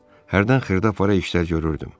Hərdən xırdapara işlər görürdüm.